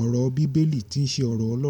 ọ̀rọ̀ bíbélì tí ṣe ọ̀rọ̀ Ọlọ́run.